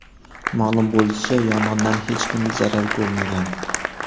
Ma’lum bo‘lishicha, yong‘indan hech kim zarar ko‘rmagan.